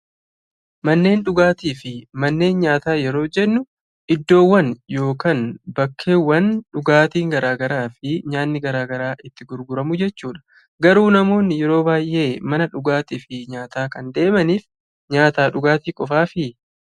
Manneen dhugaatii fi manneen nyaataa yeroo jennu iddoowwan yookaan bakkeewwan dhugaatiin garaa garaa fi nyaatni garaa garaa itti gurguramu jechuudha. Garuu namoonni yeroo baay'ee mana dhugaatii fi nyaataa kan deemaniif nyaataa fi dhugaatiif qofaafii?